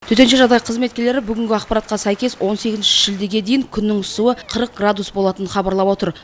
төтенше жағдай қызметкерлері бүгінгі ақпаратқа сәйкес он сегізінші шілдеге дейін күннің ысуы қырық градус болатынын хабарлап отыр